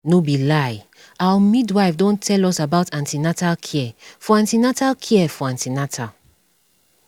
no be lie our midwife don tell us about an ten atal care for an ten atal care for an ten atal